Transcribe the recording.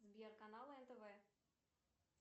сбер канал нтв